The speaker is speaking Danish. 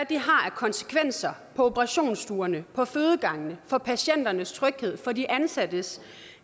konsekvenser på operationsstuerne på fødegangene for patienternes tryghed for de ansattes